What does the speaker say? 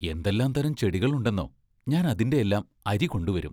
എന്തെല്ലാം തരം ചെടികളുണ്ടെന്നോ ഞാൻ അതിന്റെയെല്ലാം അരി കൊണ്ടുവരും.